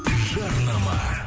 жарнама